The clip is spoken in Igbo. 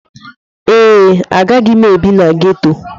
Ee, agaghị m ebi na ghetto.